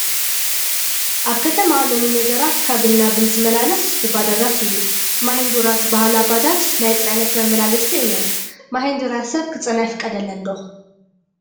ኣብ ከተማ ሎሚ ነገራት ካብን ናብን ዝመላለስ ብባጃጃት እዩ፡፡ ማሂንዱራ ዝበሃላ ባጃጅ ናይ ፅዕነት መመላለስቲ እየን፡፡ ማሂንዱራ ሰብ ክፅዕና ይፍቀደለን ዶ?